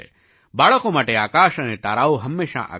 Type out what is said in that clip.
બાળકો માટે આકાશ અને તારાઓ હંમેશાં આકર્ષક હોય છે